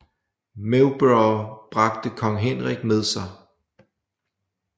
Mowbray bragte kong Henrik med sig